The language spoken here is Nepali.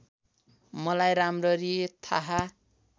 मलाई राम्ररी थाहा